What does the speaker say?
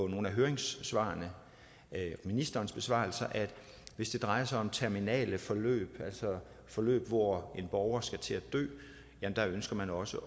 nogle af høringssvarene og ministerens besvarelse at hvis det drejer sig om terminale forløb altså forløb hvor en borger skal til at dø ønsker man også